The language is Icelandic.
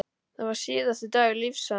Það var síðasti dagur lífs hans.